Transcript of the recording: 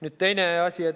Nüüd, teine asi.